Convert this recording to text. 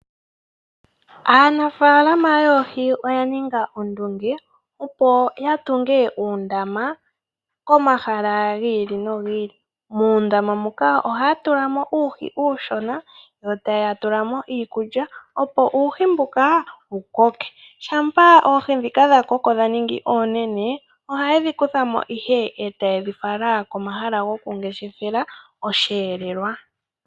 Aanafaalama yoohi oyaninga ondunge opo yatunge oondama pomahala gi ili nogi ili, muundama muka ohaya tulamo uuhi uushona yotaya tulamo iikulya opo uuhi mbuka wukoke, shampa oohi dhika dhakoko dhaningi oonene ohayedhikuthamo ihe e tayedhifala komahala gokungeshefela osheelelwa.